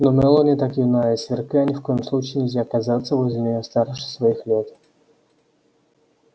но мелани так юна и сверка ни в коем случае нельзя казаться возле нее старше своих лет